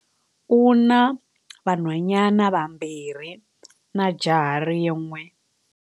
U na vanhwanyana vambirhi na jaha rin'we.